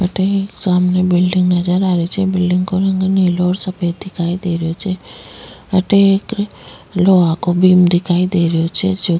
अठे एक सामने बिल्डिंग नजर आ रही छे बिल्डिंग को रंग नीला और सफ़ेद दिखाई दे रहियो छे अठे एक लोहा को दिखाई दे रहियो छे जो --